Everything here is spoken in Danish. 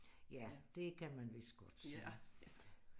Ja det kan man vidst godt sige